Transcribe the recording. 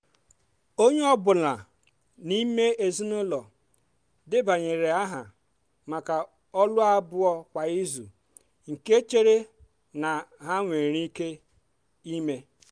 onye ọ bụla n'ime ezinụlọ debanyere aha maka ọlụ abụọ kwa izu nke chere na ha nwere ike eme.